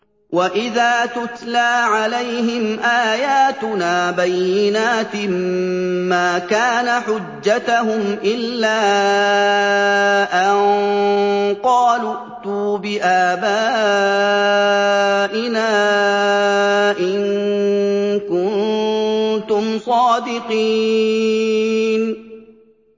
وَإِذَا تُتْلَىٰ عَلَيْهِمْ آيَاتُنَا بَيِّنَاتٍ مَّا كَانَ حُجَّتَهُمْ إِلَّا أَن قَالُوا ائْتُوا بِآبَائِنَا إِن كُنتُمْ صَادِقِينَ